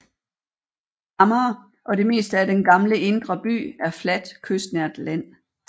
Amager og det meste af den gamle indre by er fladt kystnært land